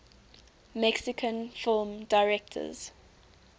mexican film directors